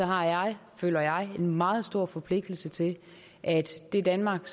har jeg føler jeg en meget stor forpligtelse til at det danmark